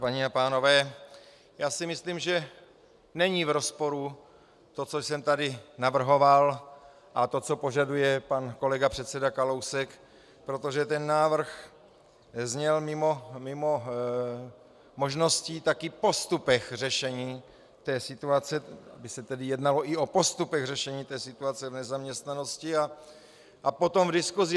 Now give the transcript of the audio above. Paní a pánové, já si myslím, že není v rozporu to, co jsem tady navrhoval, a to, co požaduje pan kolega předseda Kalousek, protože ten návrh zněl mimo možností taky o postupech řešení té situaci, kdy se tedy jednalo i o postupech řešení té situace v nezaměstnanosti a potom v diskusi.